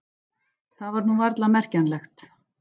Það var nú varla merkjanlegt.